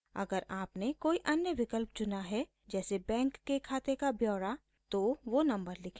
अगर आपने कोई अन्य विकल्प चुना है जैसे बैंक के खाते का ब्यौरा bank account statement तो वो नम्बर लिखें